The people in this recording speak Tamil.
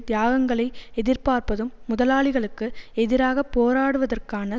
தியாகங்களை எதிர்பார்ப்பதும் முதலாளிகளுக்கு எதிராக போராடுவதற்கான